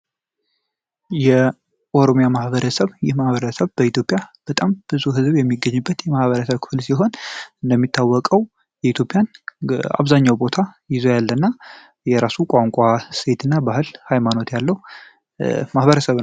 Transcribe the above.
የኦሮሚያ ማህበረሰብ የማህበረሰብ በኢትዮጵያ በጣም ብዙ ህዝብ የሚገኝበት የማህበረ ቅዱሳን ሲሆን እንደሚታወቀው የኢትዮጵያን አብዛኛው ቦታ ይዘው ያለና የራሱ ቋንቋ ሴትና ባህል ሃይማኖት ያለው ማህበረሰብ ነው